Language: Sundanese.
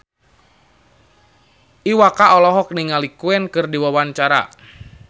Iwa K olohok ningali Queen keur diwawancara